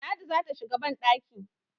ladi zai shiga bandaki